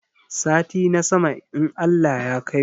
Sati na sama in Allah ya kaimu